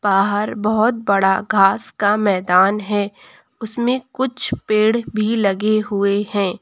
बाहर बहोत बड़ा घास का मैदान है उसमें कुछ पेड़ भी लगे हुए है।